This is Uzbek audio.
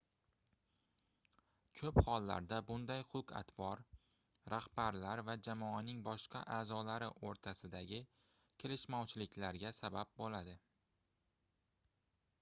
koʻp hollarda bunday xulq-atvor rahbarlar va jamoaning boshqa aʼzolari oʻrtasidagi kelishmovchiliklarga sabab boʻladi